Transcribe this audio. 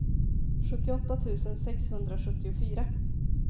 sjuttioåtta tusen sexhundrasjuttiofyra